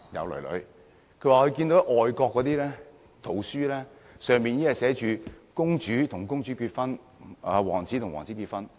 他們表示，現在外國的圖書寫的已經是公主跟公主結婚，王子跟王子結婚。